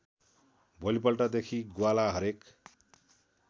भोलिपल्टदेखि ग्वाला हरेक